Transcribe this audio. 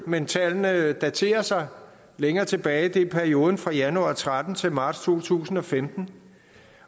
men tallene daterer sig længere tilbage det er perioden fra januar og tretten til marts to tusind og femten